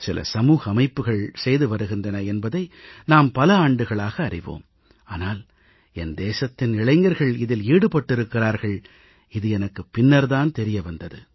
சில சமூக அமைப்புகள் செய்து வருகின்றன என்பதை நாம் பல ஆண்டுகளாக அறிவோம் ஆனால் என் தேசத்தின் இளைஞர்கள் இதில் ஈடுபட்டிருக்கிறார்கள் இது எனக்குப் பின்னர் தான் தெரிய வந்தது